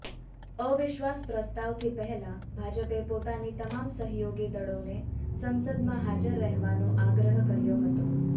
અવિશ્વાસ પ્રસ્તાવથી પહેલા ભાજપે પોતાની તમામ સહયોગી દળોને સંસદમાં હાજર રહેવાનો આગ્રહ કર્યો હતો